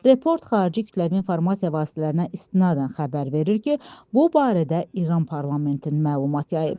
Report xarici kütləvi informasiya vasitələrinə istinadən xəbər verir ki, bu barədə İran parlamenti məlumat yayıb.